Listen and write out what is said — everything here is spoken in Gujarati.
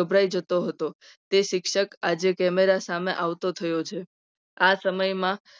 ગભરાઈ જતો હતો. તે શિક્ષક આજે camera સામે આવતો થયો છે. આ સમય માં